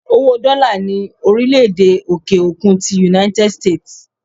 Owó Dola ni orile-ede òkè-òkun ti "United States"